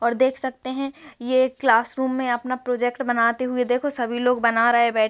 और देख सकते है ये एक क्लासरूम में अपना प्रोजेक्ट बनाते हुए देखो सभी लोग बना रहे हैं बै --